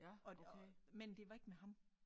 Og og men det var ikke med ham